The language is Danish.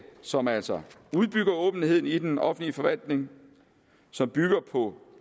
som altså udbygger åbenheden i den offentlige forvaltning som bygger på